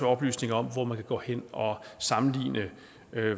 oplysninger om hvor man kan gå hen og sammenligne